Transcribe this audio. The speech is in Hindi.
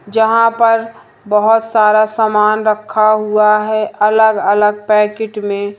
जहां पर बहोत सारा सामान रखा हुआ है अलग अलग पैकेट में--